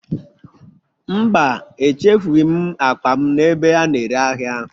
Mba, echefughị ​​m akpa m n'ebe a na-ere ahịa